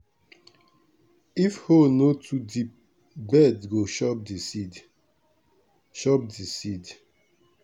if hole no too deep bird go chop di seed. chop di seed.